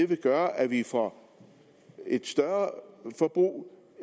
vil gøre at vi får et større forbrug